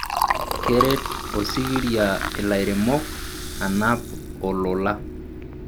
keret osikiria ilairemok anap ololola